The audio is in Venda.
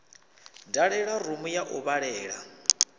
dalela rumu ya u vhalela